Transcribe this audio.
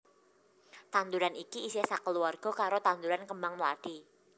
Tanduran iki isih sakeluwarga karo tanduran kembang mlathi